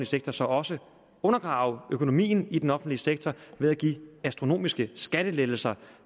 sektor så også undergrave økonomien i den offentlige sektor ved at give astronomiske skattelettelser